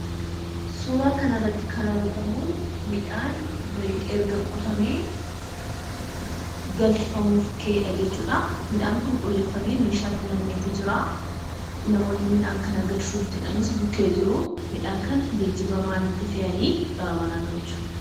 Suuraa kanarratti kan argamuu midhaan erga qotamee galfamuuf kahedha jechuudha. Midhaan kun qulleeffamee meeshaatti nammeetii jiraa, namoonni midhaan kana galchuuf jedhanis bukkee jiruu, midhaan kana geejjiba maaliitti fe'anii gara manaa galchu?